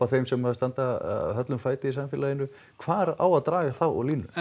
þeim sem standa höllum fæti í samfélaginu hvar á að draga þá línu